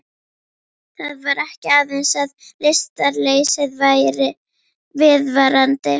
Það var ekki aðeins að lystarleysið væri viðvarandi.